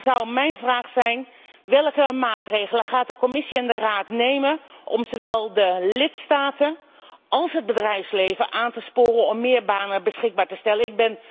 Vandaar mijn vraag welke maatregelen gaan de Commissie en de Raad nemen om zowel de lidstaten als het bedrijfsleven aan te sporen om meer banen beschikbaar te stellen.